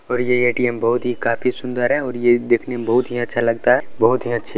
और ये ए.टी.एम. बहुत ही काफी सुंदर है और ये देखने में बहुत ही अच्छा लगता है बहुत ही अच्छा --